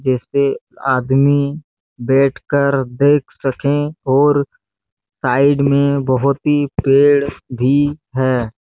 जिसे आदमी बैठकर देख सके और साइड में बहुत ही पेड़ भी है।